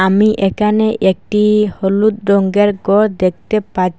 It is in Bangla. আমি একানে একটি হলুদ রঙ্গের গর দেখতে পা--